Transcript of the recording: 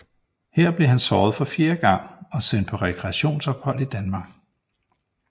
Her blev han såret for fjerde gang og sendt på rekreationsophold i Danmark